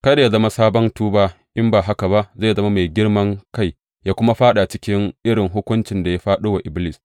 Kada yă zama sabon tuba, in ba haka zai zama mai girman kai yă kuma fāɗa cikin irin hukuncin da ya fāɗo wa Iblis.